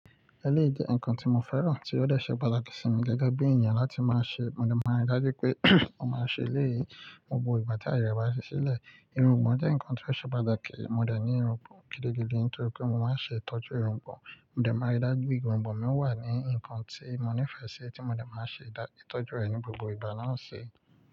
Ẹlẹ́yí jẹ́ ǹkan tí mo fẹ́ràn tí ó dẹ̀ ṣẹ́ pataki sí mi gẹ́gẹ́ bí ènìyàn láti máa ṣe. Mo máa ń rí dájú pé mo máa ṣe lẹ́yìí gbogbo ìgbà tí ayẹrẹ bá ṣí sílẹ̀. Ìrúgbọ̀n jẹ́ ǹkan tí ó ṣe patà kí mo dẹ̀ ní ìrúgbọ̀n gidigidi nítorí pé mo máa ń ṣe ìtọ́jú ìrúgbọ̀n. Mo dẹ̀ máa rí dájú pé ìrúgbọ̀n mi wà ní ǹkan tí mo nífẹ̀ẹ́ sí tí mo dẹ̀ máa ṣe ìtọ́jú rẹ̀ ní gbogbo ìgbà náà ṣe.